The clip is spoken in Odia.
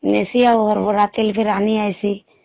ନେସି ଆଉ ହର୍ବରାତି ଆନି ଆସି